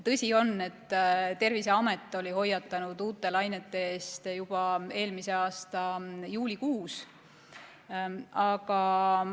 Tõsi on, et Terviseamet oli hoiatanud uute lainete eest juba eelmise aasta juulikuus.